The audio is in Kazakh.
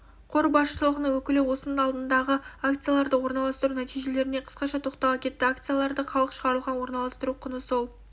қор басшылығының өкілі осының алдындағы акцияларды орналастыру нәтижелеріне қысқаша тоқтала кетті акциялары халық шығарылған орналастыру құны сол